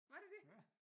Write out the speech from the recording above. Var det det?